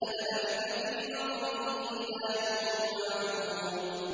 لَلَبِثَ فِي بَطْنِهِ إِلَىٰ يَوْمِ يُبْعَثُونَ